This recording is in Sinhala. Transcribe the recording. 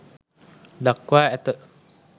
දක්වා ඇත.